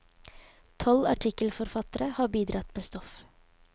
Tolv artikkelforfattere har bidratt med stoff.